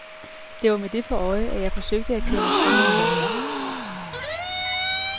Det var med det for øje, at jeg forsøgte at køre mig frem i front.